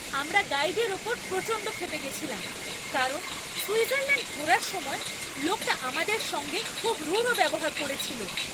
আমরা গাইডের ওপর প্রচণ্ড ক্ষেপে গেছিলাম, কারণ সুইজারল্যাণ্ড ঘোরার সময়, লোকটা আমাদের সঙ্গে খুব রূঢ় ব্যবহার করেছিল।